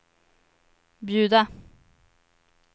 bjuda